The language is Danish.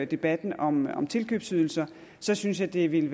debatten om om tilkøbsydelser synes jeg det ville